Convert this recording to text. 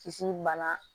Kis bana